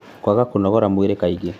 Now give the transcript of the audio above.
Kwaga kũnogora mwĩrĩ kaingĩ,